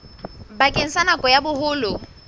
bakeng sa nako ya boholo